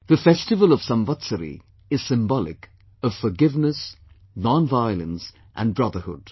The festival of Samvatsari is symbolic of forgiveness, nonviolence and brotherhood